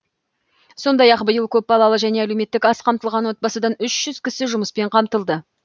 сондай ақ биыл көпбалалы және әлеуметтік аз қамтылған отбасыдан үш жүз кісі жұмыспен қамтылды